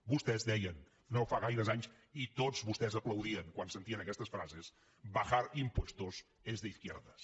vostès ho deien no fa gaires anys i tots vostès aplaudien quan sentien aquestes frases bajar impuestos es de izquierdas